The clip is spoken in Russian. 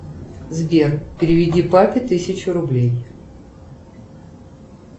сбер переведи папе тысячу рублей